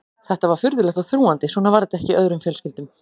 Þetta var furðulegt og þrúgandi, svona var þetta ekki í öðrum fjölskyldum.